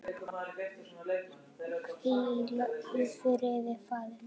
Hvíl í friði faðir minn.